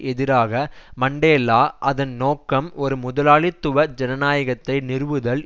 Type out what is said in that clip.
எதிராக மண்டேலா அதன் நோக்கம் ஒரு முதலாளித்துவ ஜனநாயகத்தை நிறுவுதல்